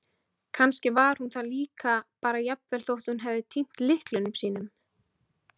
Kannski var hún það líka bara- jafnvel þótt hún hefði týnt lyklunum sínum.